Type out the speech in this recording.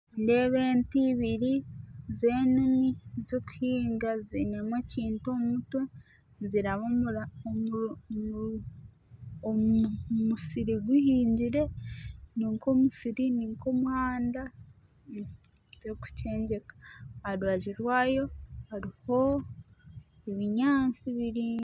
Nindeeba ente ibiri z'enimi zikuhinga ziinemu ekintu omu mutwe niziraba omu omu omu mu musiri guhingire, ni nk'omusiri ni nk'omuhanda tirukukyengeka aha rubaju rwayo hariho obunyaasi buraingwa.